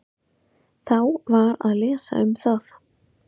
Þá var að lesa um það.